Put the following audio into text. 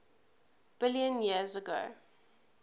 billion years ago